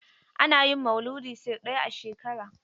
Ana yin Mauludi sau ɗaya a shekara.